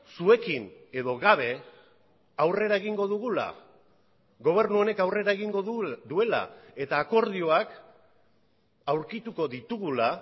zuekin edo gabe aurrera egingo dugula gobernu honek aurrera egingo duela eta akordioak aurkituko ditugula